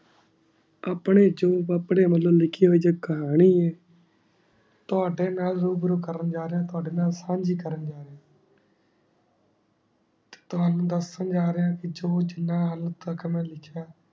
ਅਪਨੀ ਚੋ ਪਾਪ੍ਰਾਯ ਵਲੋਂ ਲਿਖੀ ਹੁਈ ਹੋਈ ਜੇ ਕਹਾਨੀ ਹੈ ਤਾਵਾਡੀ ਨਾਲ ਰੂਬਰੂ ਕਰਨ ਜਾ ਰੀਹਾ ਤਾਵਾਡੀ ਨਾਲ ਫਲ ਜੀ ਕਰਨ ਜਾ ਰੇਯ੍ਹਾ ਤਾਵਾਨੁ ਦਸਾਂ ਜਾ ਰੇਯ੍ਹਾ ਕੇ ਜੋ ਜਿਨਾ ਉਨ ਤਕ ਮੈਂ ਲਿਖਿਯਾ